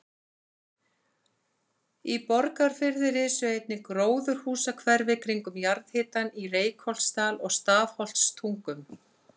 Í Borgarfirði risu einnig gróðurhúsahverfi kringum jarðhitann í Reykholtsdal og Stafholtstungum.